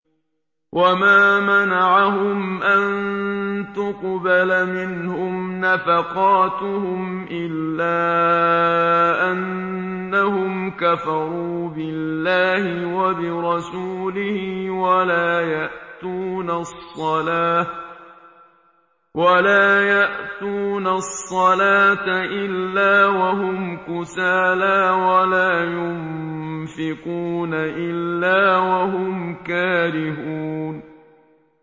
وَمَا مَنَعَهُمْ أَن تُقْبَلَ مِنْهُمْ نَفَقَاتُهُمْ إِلَّا أَنَّهُمْ كَفَرُوا بِاللَّهِ وَبِرَسُولِهِ وَلَا يَأْتُونَ الصَّلَاةَ إِلَّا وَهُمْ كُسَالَىٰ وَلَا يُنفِقُونَ إِلَّا وَهُمْ كَارِهُونَ